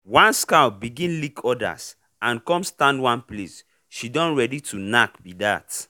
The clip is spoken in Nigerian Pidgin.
once cow begin lick others and come stand one place she don ready to knack be that.